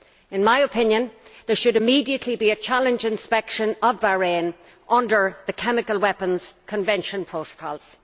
In my opinion, there should immediately be a challenge inspection of Bahrain under the Chemical Weapons Convention Protocols.